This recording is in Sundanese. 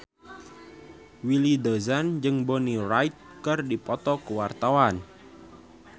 Willy Dozan jeung Bonnie Wright keur dipoto ku wartawan